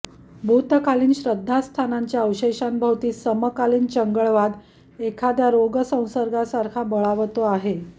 भूतकालीन श्रद्धास्थानांच्या अवशेषांभोवती समकालीन चंगळवाद एखाद्या रोगसंसर्गासारखा बळावतो आहे